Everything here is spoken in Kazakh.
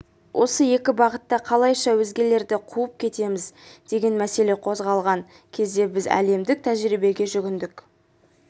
осы екі бағытта қалайша өзгелерді қуып жетеміз деген мәселе қозғалған кезде біз әлемдік тәжірибеге жүгіндік